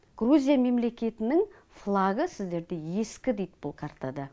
грузия мемлекетінің флагы сіздерде ескі дейді бұл картада